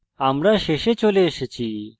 আমরা শেষে চলে এসেছি